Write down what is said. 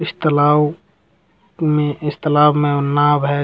इस तालाब में इस तालाब में नाव है।